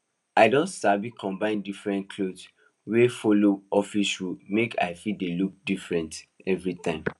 i don sabi combine different clothes wey follow office rule make i fit dey look different every time